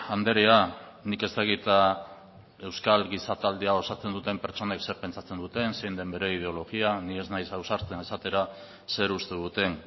andrea nik ez dakit euskal giza taldea osatzen duten pertsonek zer pentsatzen duten zein den bere ideologia ni ez naiz ausartzen esatera zer uste duten